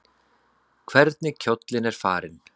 Hvernig kjóllinn er farinn!